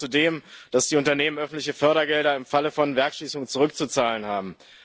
Wir fordern zudem, dass die Unternehmen öffentliche Fördergelder im Falle von Werkschließungen zurückzuzahlen haben.